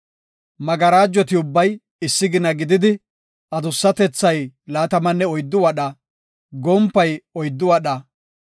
Magarajoti ubbay issi gina gididi, adussatethay laatamanne oyddu wadha, gompay oyddu wadha.